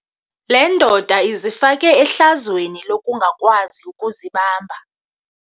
Le ndoda izifake ehlazweni lokungakwazi ukuzibamba.